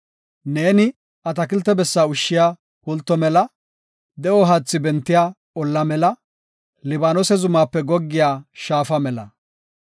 Neeni atakilte bessa ushshiya pulto mela; de7o haathi bentiya olla mela; Libaanose zumaape goggiya shaafa mela.